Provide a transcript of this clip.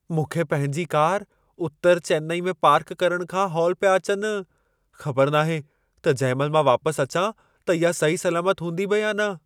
मूंखे पंहिंजी कार उत्तर चेन्नई में पार्क करणु खां हौल पिया अचनि। ख़बर नाहे त जंहिं महिल मां वापसि अचां त इहा सही सलामत हूंदी बि या न।